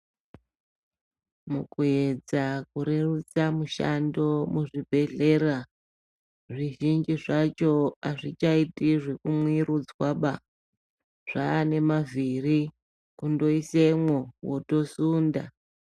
Mukuedza kurerutsa mushando muzvibhedhlera, zvizhinji zvacho azvichaiti zvekumwirudzwaba, zvaane mavhiri, kundoisemwo wotosunda.